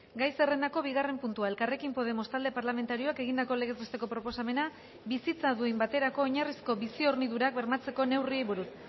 gai zerrendako bigarren puntua elkarrekin podemos talde parlamentarioak egindako legez besteko proposamena bizitza duin baterako oinarrizko bizi hornidurak bermatzeko neurriei buruz